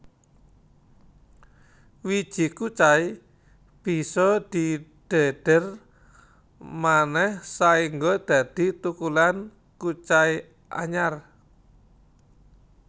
Wiji kucai bisa didhedher manéh saéngga dadi thukulan kucai anyar